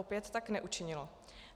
Opět tak neučinilo.